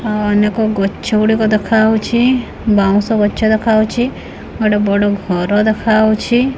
ଅଉ ଅନେକ ଗଛ ଗୁଡ଼ିକ ଦେଖାଉଛି ବାଉଁଶ ଗଛ ଦେଖାଉଛି ଗୋଟେ ବଡ ଘର ଦେଖାଉଛି।